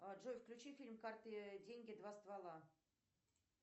джой включи фильм карты деньги два ствола